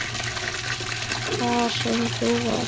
Hvar sem þú ert.